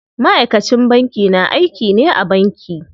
Ma'aikacin banki na aiki ne a banki.